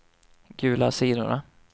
gula sidorna